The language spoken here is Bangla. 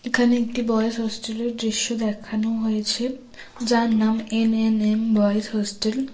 এখানে একটি বয়েজ হোস্টেলের দৃশ্য দেখানো হয়েছে যার নাম এন_এন_এম বয়েজ হোস্টেল ।